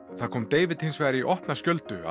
það kom David hins vegar í opna skjöldu að